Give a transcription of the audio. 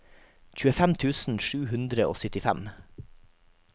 tjuefem tusen sju hundre og syttifem